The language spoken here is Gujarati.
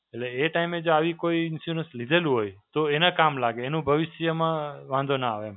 એટલે એ time જો આવી કોઈ insurance લીધેલું હોય, તો એને કામ લાગે. એનો ભવિષ્યમાં વાંધો ના આવે એમ.